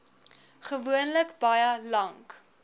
gewoonlik baie lank